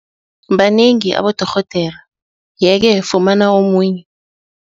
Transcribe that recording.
Banengi abodorhodere yeke, fumana omunye.